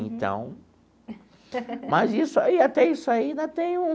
Então... Mas isso aí, até isso aí ainda tem um...